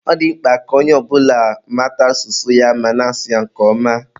Ọ dị mkpa ka onye ọ bụla mata asụsụ ya ma na-asụ ya nke ọma